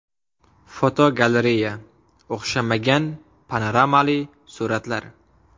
Fotogalereya: O‘xshamagan panoramali suratlar.